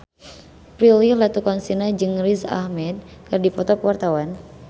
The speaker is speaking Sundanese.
Prilly Latuconsina jeung Riz Ahmed keur dipoto ku wartawan